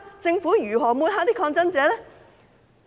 政府如何抹黑抗爭者？